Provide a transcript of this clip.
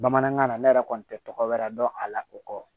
Bamanankan na ne yɛrɛ kɔni tɛ tɔgɔ wɛrɛ dɔn a la o kɔ